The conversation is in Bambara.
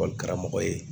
karamɔgɔ ye